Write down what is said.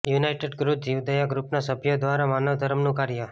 United youth જીવદયા ગ્રુપના સભ્ય દ્વારા માનવધર્મનું કાર્ય